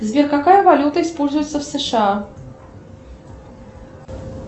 сбер какая валюта используется в сша